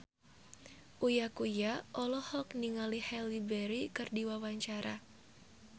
Uya Kuya olohok ningali Halle Berry keur diwawancara